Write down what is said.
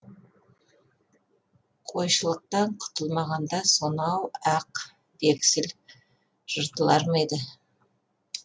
қойшылықтан құтылмағанда сонау ақ вексіл жыртылар ма еді